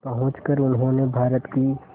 पहुंचकर उन्होंने भारत की